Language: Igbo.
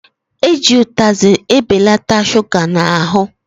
Eji utazị ebelata shuga n'ahụ